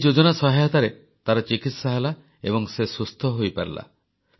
ଏଇ ଯୋଜନା ସହାୟତାରେ ତାର ଚିକିତ୍ସା ହେଲା ଏବଂ ସେ ସୁସ୍ଥ ହୋଇପାରିଲା